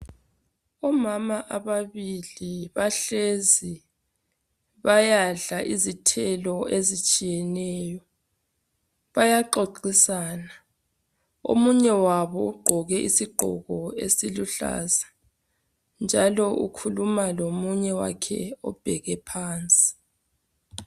Omama ababili bahlezi, bayadla izithelo ezitshiyeneyo. Bayaxoxisana, omunye wabo ugqoke isigqoko esiluhlaza njalo ukhuluma lomunye wakhe obheke phansi.